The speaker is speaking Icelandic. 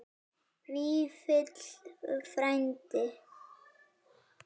Vífill frændi.